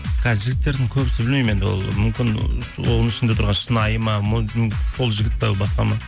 қазір жігіттердің көбісі білмеймін енді ол мүмкін оның ішіндегі отырған шынайы ма ол жігіт пе басқа ма